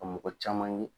Ka mɔgɔ caman ye